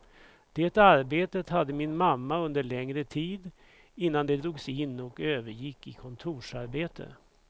Det arbetet hade min mamma under längre tid, innan det drogs in och övergick i kontorsarbete.